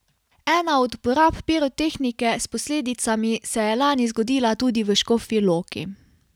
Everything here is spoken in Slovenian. Ena od uporab pirotehnike s posledicami se je lani zgodila tudi v Škofji Loki.